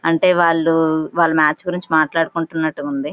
అంటే వాళ్ళు వాళ్ళ మ్యాచ్ గురించి మాట్లాడుకుంటున్నట్టుగా ఉంది.